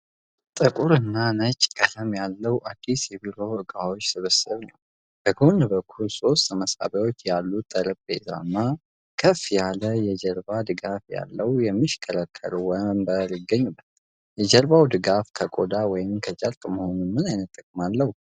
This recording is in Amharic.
ጥቁር እና ነጭ ቀለም ያለው አዲስ የቢሮ እቃዎች ስብስብ ነው። በጎን በኩል ሶስት መሳቢያዎች ያለው ጠረጴዛ እና ከፍ ያለ የጀርባ ድጋፍ ያለው የሚሽከረከር ወንበር ይገኙበታል። የ የጀርባ ድጋፍ ከቆዳ ወይም ከጨርቅ መሆኑ ምን ዓይነት ጥቅም አለው?